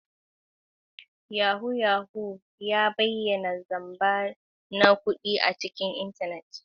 Yahoo Yahoo ya bayyana zamba na kudi a intanet.